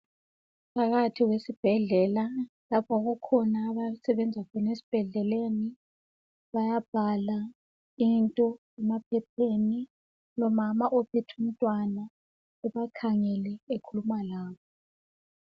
Phakathi kwesibhedlela. Lapho okukhona abasebenza khona, esibhedleleni. Bayabhala into emaphepheni. Lomama, ophethe umntwana, ebakhangele. khuluma labo.